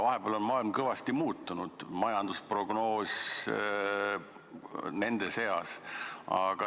Vahepeal on maailm kõvasti muutunud, majandusprognoos muu hulgas.